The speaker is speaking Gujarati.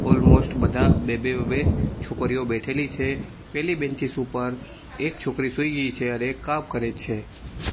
ઓલમોસ્ટ બધા બે બે બે બે છોકરીઓ બેઠેલી છે પેલી બેન્ચીસ ઉપર એક છોકરી સુઈ ગઈ છે અને એક કામ કરે છે.